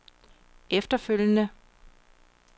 efterfølgende